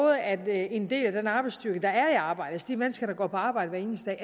at en del af den arbejdsstyrke der er i arbejde altså de mennesker der går på arbejde hver eneste